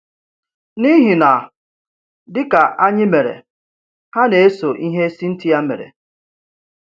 N’ihi na dịka anyị mere, ha na-eso ihe Cynthia mere.